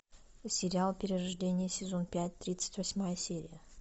сериал перерождение сезон пять тридцать восьмая серия